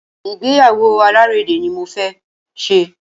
Ìgbéyàwó alárédè ní mo fẹ ṣe.